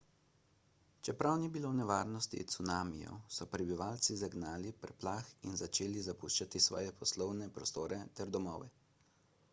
čeprav ni bilo nevarnosti cunamijev so prebivalci zagnali preplah in začeli zapuščati svoje poslovne prostore ter domove